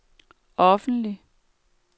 offentlig